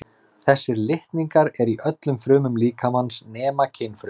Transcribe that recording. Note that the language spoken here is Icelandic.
Þessir litningar eru í öllum frumum líkamans nema kynfrumunum.